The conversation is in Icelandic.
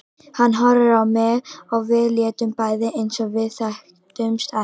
Hann horfði á mig og við létum bæði eins og við þekktumst ekki.